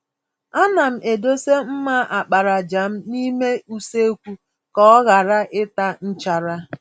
Ana m edosa mma àkpàràjà m n'ime usekwu ka ọ ghara ịta nchara.